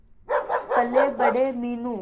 पलेबड़े Meenu